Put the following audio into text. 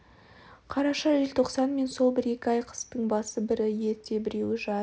қараша желтоқсан мен сол бір-екі ай қыстың басы бірі ерте біреуі жай